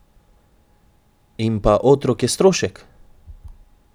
In pa otrok je strošek!